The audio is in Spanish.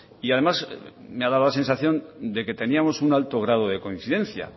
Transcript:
y además me ha dado la sensación de que teníamos un alto grado de coincidencia